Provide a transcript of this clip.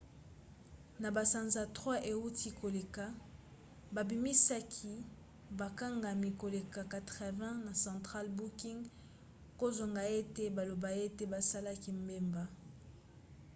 na basanza 3 euti koleka babimisaki bakangami koleka 80 na central booking kozanga ete baloba ete basalaki mbeba